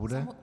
Bude.